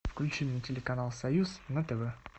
включи мне телеканал союз на тв